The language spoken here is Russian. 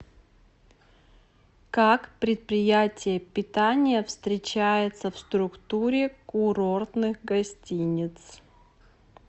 как предприятие питания встречается в структуре курортных гостиниц